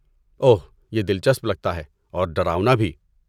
اوہ، یہ دلچسپ لگتا ہے اور ڈراؤنا بھی۔